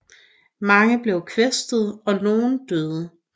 Mange blev kvæstede og nogle døde